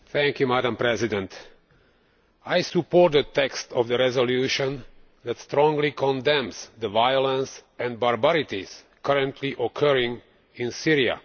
Madam President, I support the text of the resolution that strongly condemns the violence and barbarities currently occurring in Syria.